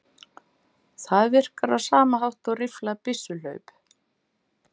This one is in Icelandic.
Það virkar á sama hátt og rifflað byssuhlaup.